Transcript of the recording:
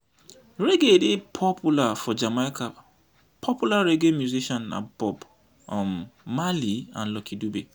reggae dey popular for jamaica popular reggae musician na bob um marley and lucky dube